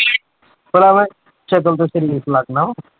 ਭਲਾ ਮੈਂ ਸ਼ਕਲ ਤੋਂ ਸਰੀਫ਼ ਲੱਗਦਾ ਵਾਂ?